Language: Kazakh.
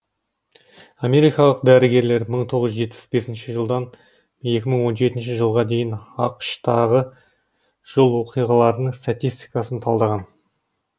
америкалық дәрігерлер мың тоғыз жүз жетпіс бесінші жылдан екі мың он жетінші жылға дейін ақш ғы жол оқиғаларының статистикасын талдаған